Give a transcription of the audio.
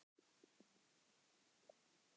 Spurningin var bara hversu óvenjulegt það væri.